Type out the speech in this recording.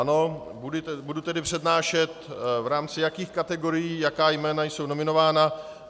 Ano, budu tedy přednášet, v rámci jakých kategorií jaká jména jsou nominována.